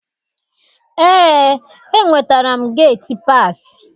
Eé, enwetara m geti paasị.